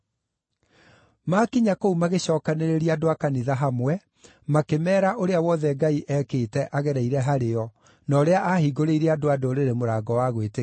Maakinya kũu magĩcookanĩrĩria andũ a kanitha hamwe, makĩmeera ũrĩa wothe Ngai ekĩte agereire harĩo na ũrĩa aahingũrĩire andũ-a-Ndũrĩrĩ mũrango wa gwĩtĩkia.